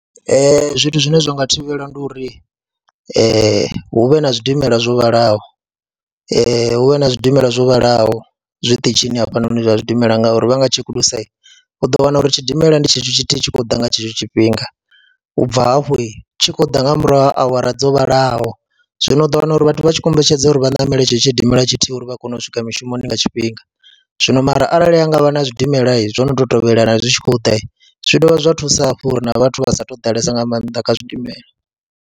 Zwithu zwine zwa nga thivhela ndi uri hu vhe na zwidimela zwo vhalaho, hu vhe na zwidimela zwo vhalaho zwiṱitshini hafhanoni zwa zwidimela ngauri vha nga tshekulusa u ḓo wana uri tshidimela ndi tshetsho tshithu hu tshi khou ḓa nga tshetsho tshifhinga, u bva hafho tshi khou ḓa nga murahu ha awara dzo vhalaho. Zwino u ḓo wana uri vhathu vha tshi kombetshedza uri vha ṋamele tsheo tshidimela tshithihi uri vha kone u swika mushumoni nga tshifhinga, zwino mara arali ha nga vha na zwidimela zwo no tou tovhelana zwi tshi khou ḓa, zwi dovha zwa thusa hafhu uri na vhathu vha sa tou ḓalesa nga maanḓa kha zwidimela.